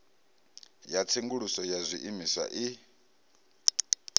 ya tsenguluso ya zwiimiswa i